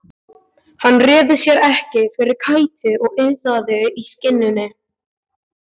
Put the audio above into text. Hann réði sér ekki fyrir kæti og iðaði í skinninu.